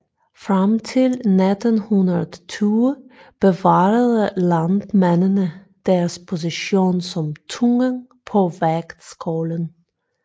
Frem til 1920 bevarede landmændene deres position som tungen på vægtskålen